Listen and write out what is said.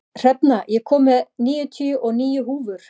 Hrefna, ég kom með níutíu og níu húfur!